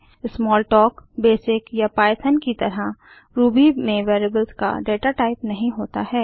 Smalltalk BASIC या Python की तरह रूबी में वेरिएबल्स का डाटाटाइप नहीं होता है